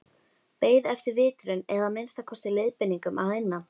Beið eftir vitrun eða að minnsta kosti leiðbeiningum að innan.